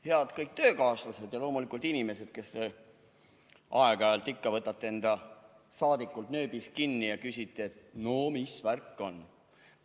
Head töökaaslased ja loomulikult need inimesed, kes aeg-ajalt ikka võtavad enda saadikul nööbist kinni ja küsivad, et no mis värk on.